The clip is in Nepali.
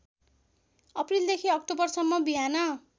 अप्रिलदेखि अक्टोबरसम्म बिहान